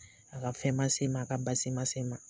A ka fɛn ma se ma, a ka baasi ma se ma.